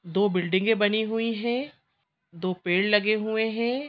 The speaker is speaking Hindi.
दो बिल्डिंगे बनी हुई हैं दो पेड़ लगे हुए हैं।